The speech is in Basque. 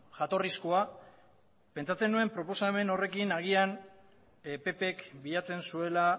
jatorrizkoa pentsatzen nuen proposamen horrekin agian ppk bilatzen zuela